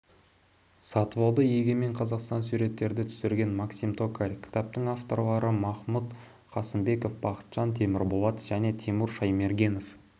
сатыбалды егемен қазақстан суреттерді түсірген максим токарь кітаптың авторлары махмұт қасымбеков бақытжан темірболат және тимур шаймергенов